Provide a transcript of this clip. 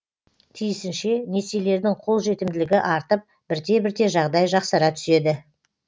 тиісінше несиелердің қолжетімділігі артып бірте бірте жағдай жақсара түседі